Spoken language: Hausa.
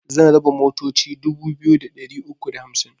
Zan raba motoci dubu biyu da ɗari uku da hamsin